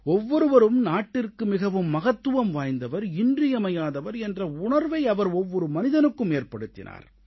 ஒவ்வொருவரும் நாட்டிற்கு மிகவும் மகத்துவம் வாய்ந்தவர் இன்றியமையாதவர் என்ற உணர்வை அவர் ஒவ்வொரு மனிதனுக்கும் ஏற்படுத்தினார்